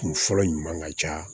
Kun fɔlɔ ɲuman ka ca